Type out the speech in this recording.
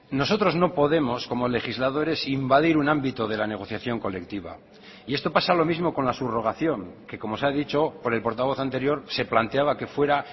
nosotros no podemos como legisladores invadir un ámbito de la negociación colectiva y esto pasa lo mismo con la subrogación que como se ha dicho por el portavoz anterior se planteaba que fuera